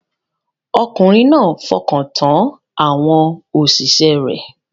Ọkùnrin náà fọkàn tán àwọn òṣìṣẹ́ rẹ̀